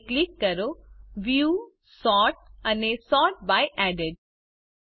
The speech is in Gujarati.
હવે ક્લિક કરો વ્યૂઝ સોર્ટ અને સોર્ટ બાય એડેડ